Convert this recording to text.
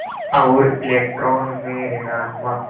और इलेक्ट्रॉन में ॠणात्मक